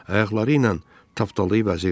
Ayaqları ilə tapdalayıb əzirdi.